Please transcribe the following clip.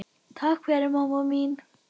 Takk fyrir mamma mín.